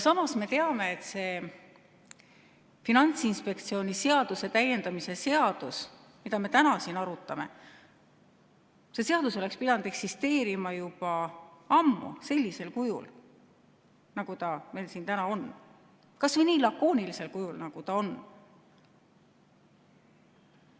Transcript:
Samas me teame, et see Finantsinspektsiooni seaduse täiendamise seaduse eelnõu, mida me täna siin arutame, oleks pidanud eksisteerima juba ammu sellisel kujul, nagu ta meil täna siin on, kas või nii lakoonilisel kujul, nagu ta on.